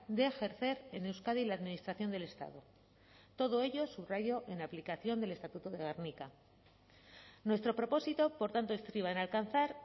de ejercer en euskadi la administración del estado todo ello subrayo en aplicación del estatuto de gernika nuestro propósito por tanto estriba en alcanzar